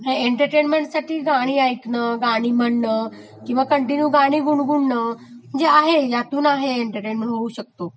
आहे एन्टर्टेमेंन्टसाठी गाणी ऐंकणं, गाणी म्हणणं, किंवा कन्टीन्यू गाणी गुणगुणण म्हणजे आहे ह्यातून आहे एन्टरटेनमेंट होऊ शकतो